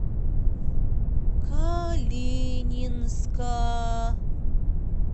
калининска